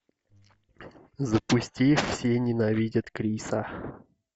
запусти все ненавидят криса